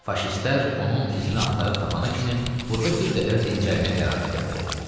Faşistlər onun izini axtarıb tapana kimi burda bir qədər dincəlmək qərarına gəldi.